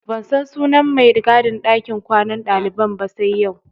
Ban san sunan mai gadin ɗakin kwanan ɗaliban ba sai yau.